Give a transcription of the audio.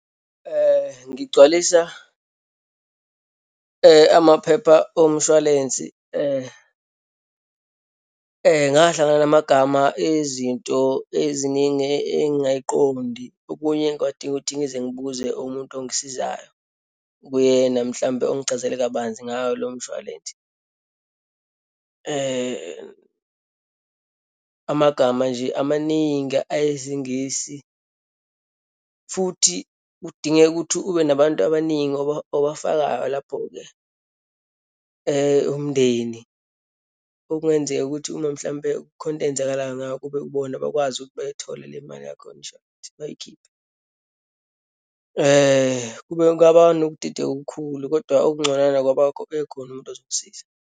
Ngigcwalisa amaphepha omshwalense, ngahlangana namagama ezinto eziningi engingayiqondi. Okunye kwadinga ukuthi ngize ngibuze umuntu ongisizayo, okuyena mhlawumbe ongichazele kabanzi ngawo lowo mshwalense. Amagama nje amaningi ayesiNgisi futhi kudingeka ukuthi ube nabantu abaningi obafakayo lapho-ke, umndeni. Okungenzeka ukuthi uma, mhlampe kukhona eyenzekalayo ngake kube ibona bekwazi ukuthi beyithole le mali yakho yemshwalense, bayikhiphe. Kube ngaba nokudideka okukhulu, kodwa okunconywana ubekhona umuntu ozongisiza.